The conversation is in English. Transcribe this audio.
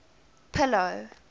pillow